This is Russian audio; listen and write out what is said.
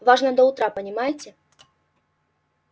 важно до утра понимаете